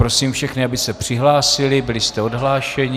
Prosím všechny, aby se přihlásili, byli jste odhlášeni.